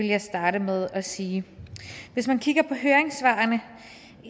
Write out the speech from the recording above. jeg starte med at sige hvis man kigger på høringssvarene